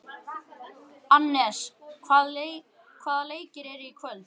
Annes, hvaða leikir eru í kvöld?